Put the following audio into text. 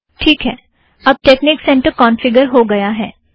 ठीक है अब टेकनिक सेंटर कौंफ़िगर हो गया है